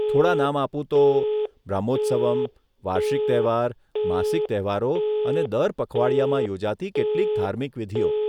થોડા નામ આપું તો, બ્રહ્મોત્સવમ, વાર્ષિક તહેવાર, માસિક તહેવારો અને દર પખવાડિયામાં યોજાતી કેટલીક ધાર્મિક વિધિઓ.